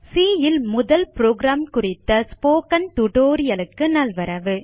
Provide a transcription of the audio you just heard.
C ல் முதல் program குறித்த ஸ்போக்கன் டியூட்டோரியல் க்கு நல்வரவு